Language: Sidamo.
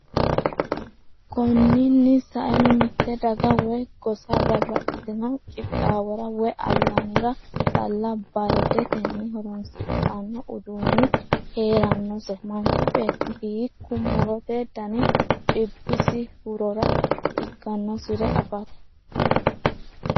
Konni nni saeno mitte daga woy gosa babbaxxitino qixxaawora woy ayyaanira calla badatenni horoonsidhanno uduunni hee’rannose, Manchu beetti hiikku mu’rote dani dhibbisi hurora ikkannosiro afate?